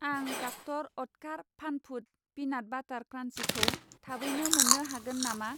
आं डक्तर अत्कार फान फुड पिनाट बाटार क्रान्सिखौ थाबैनो मोन्नो हागोन नामा?